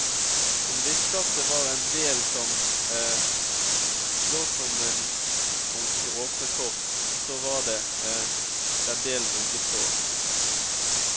Hun visste at det var en del som lå som en bunke åpne kort, og så var det den delen du ikke så.